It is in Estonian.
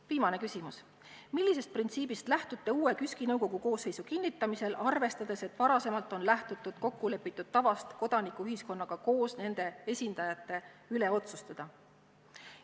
Viimane küsimus: "Millisest printsiibist lähtute uue KÜSK-i nõukogu koosseisu kinnitamisel, arvestades, et varasemalt on lähtutud kokkulepitud tavast kodanikuühiskonnaga koos nende esindajate üle otsustada?